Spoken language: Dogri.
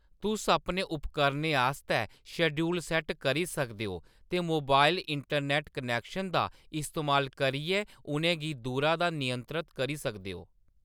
तुस अपने उपकरणें आस्तै शेड्यूल सेट्ट करी सकदे ओ ते मोबाइल इंटरनैट्ट कनैक्शन दा इस्तेमाल करियै उʼनें गी दूरा दा नियंत्रत करी सकदे ओ